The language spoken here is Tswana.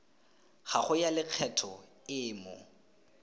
gago ya lekgetho e mo